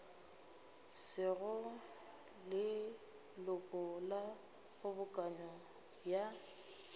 sego leloko la kgobokano ya